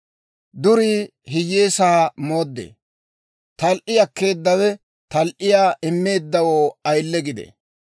Durii hiyyeesaa mooddee; tal"i akkeedawe tal"iyaa immeeddawoo ayile gidee.